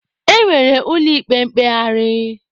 E nwere ụlọ ikpe mkpegharị.